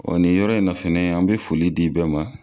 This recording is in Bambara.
nin yɔrɔ in na fɛnɛ an bi foli di bɛɛ ma